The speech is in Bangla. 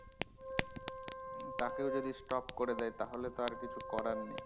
তাকেও যদি stop করে দেই তাহলে তো কিছু করার নেই